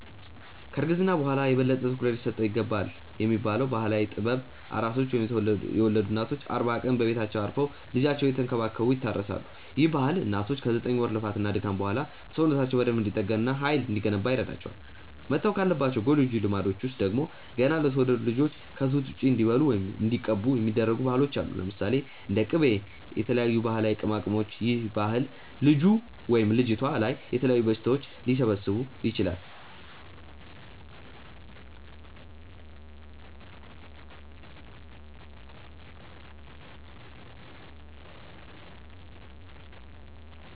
ከ እርግዝና በኋላ የበለጠ ትኩረት ሊሰጠው ይገባልብ የሚባለው ባህላዊ ጥበብ፤ ኣራሶች ወይም የወለዱ እናቶች አርባ ቀን በቤታቸው አርፈው ልጃቸውን እየተንከባከቡ ይታረሳሉ፤ ይህ ባህል እናቶች ከ ዘጠኝ ወር ልፋት እና ድካም በኋላ ሰውነታቸው በደንብ እንዲጠገን እና ሃይል እንዲገነባ ይረዳቸዋል። መተው ካለባቸው ጎጂ ልማዶች ውስጥ ደግሞ፤ ገና ለተወለዱት ልጆች ከ ጡት ውጪ እንዲበሉ ወይም እንዲቀቡ የሚደረጉ ባህሎች አሉ። ለምሳሌ፦ እንደ ቂቤ እና የተለያዩ ባህላዊ ቅመማቅመሞች ይህ ባህል ልጁ/ልጅቷ ላይ የተለያዩ በሽታዎች ሊሰበስብ ይችላል